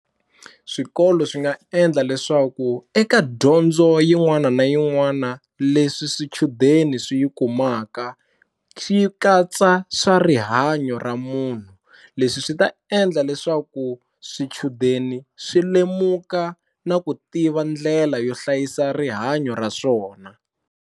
Swikolo swi nga endla leswaku eka dyondzo yin'wana na yin'wana leswi swichudeni swi yi kumaka xi katsa swa rihanyo ra munhu leswi swi ta endla leswaku swichudeni swi lemuka na ku tiva ndlela yo hlayisa rihanyo ra swona.